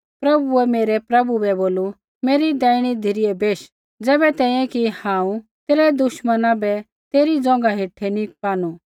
प्रभुऐ मेरै प्रभु बै बोलू मेरी दैहिणी धिरै बेश ज़ैबै तैंईंयैं कि हांऊँ तेरै दुश्मना बै तेरै ज़ौघा हेठै नी पानू